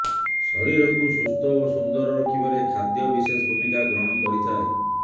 ଶରୀରକୁ ସୁସ୍ଥ ଓ ସୁନ୍ଦର ରଖିବାରେ ଖାଦ୍ୟ ବିଶେଷ ଭୂମିକା ଗ୍ରହଣ କରିଥାଏ